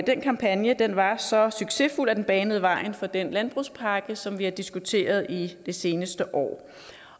den kampagne var så succesfuld at den banede vejen for den landbrugspakke som vi har diskuteret det seneste år